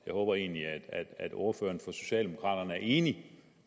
jeg håber egentlig at ordføreren for socialdemokraterne er enig